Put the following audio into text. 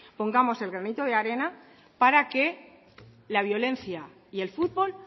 pongamos el granito de arena para que la violencia y el futbol